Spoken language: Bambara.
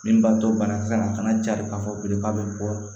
Min b'a to banakisɛ ma a fana jari k'a fɔ bilen k'a bɛ bɔ